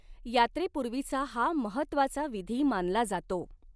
यात्रेपूर्वीचा हा महत्त्वाचा विधी मानला जातो.